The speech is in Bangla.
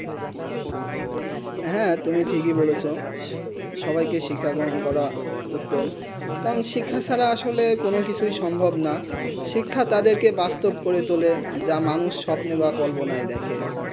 হেঁ তুমি ঠিক বলেছো সবাই কে শিক্ষা গ্রহণ করা উত্তম কারণ শিক্ষা ছাড়া আসলে কোনো কিছু সম্ভব না শিক্ষা তা দের কে বাস্তব করে তুলে যা মানুষ স্বপ্নই বা কল্পনায় দেখে